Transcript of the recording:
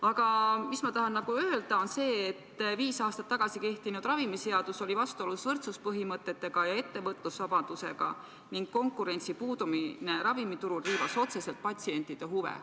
Aga ma tahan öelda seda, et viis aastat tagasi kehtinud ravimiseadus oli vastuolus võrdsuspõhimõtete ja ettevõtlusvabadusega ning konkurentsi puudumine ravimiturul riivas otseselt patsientide huve.